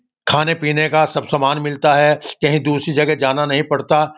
खाने-पीने का सब सामन मिलता है। कही दूसरी जगह जाना नहीं पड़ता।